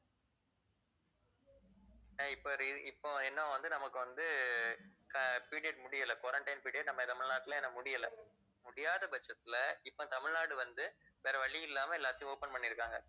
அஹ் இப்ப இப்ப என்ன வந்து நமக்கு வந்து ஆஹ் period முடியலை quarantine period நம்ம தமிழ்நாட்டுல இன்னும் முடியல முடியாதபட்சத்துல இப்ப தமிழ்நாடு வந்து வேற வழி இல்லாம எல்லாத்தையும் open பண்ணியிருக்காங்க